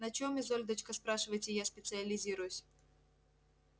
на чём изольдочка спрашиваете я специализируюсь